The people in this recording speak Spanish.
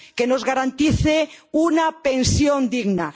nos garanticen una pensión digna.